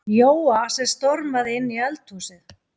Jóa sem stormaði inn í eldhúsið.